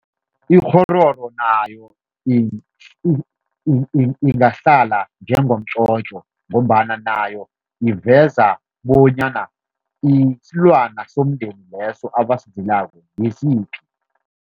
Ikghororo nayo ingahlala njengomtjotjo, ngombana nayo iveza bonyana isilwana somndeni leso abasizilako ngisiphi.